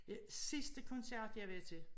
Jeg sidste koncert jeg var til